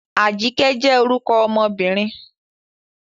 Ajike jẹ́ orúkọ ọmọbìnrin.